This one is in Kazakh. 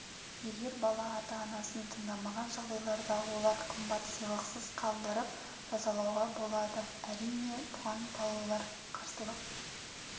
егер бала ата-анасын тыңдамаған жағдайларда оларды қымбат сыйлықсыз қалдырып жазалауға болады әрине бұған балалар қарсылық